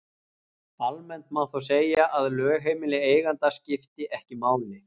Almennt má þó segja að lögheimili eiganda skipti ekki máli.